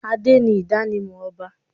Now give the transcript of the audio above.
Adé ni idanimọ ọba.